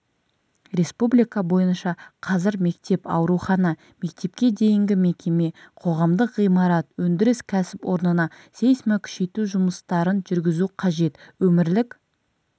республика бойынша қазір мектеп аурухана мектепке дейінгімекеме қоғамдық ғимарат өндіріс кәсіпорнына сейсмокүшейту жұмыстарын жүргізу қажет өмірлік